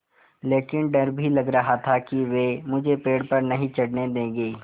लेकिन डर भी लग रहा था कि वे मुझे पेड़ पर नहीं चढ़ने देंगे